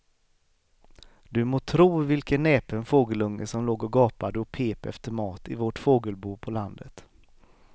Du må tro vilken näpen fågelunge som låg och gapade och pep efter mat i vårt fågelbo på landet.